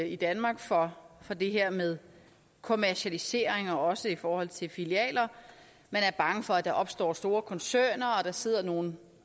i danmark for det her med kommercialisering også i forhold til filialer man er bange for at der opstår store koncerner at der sidder nogle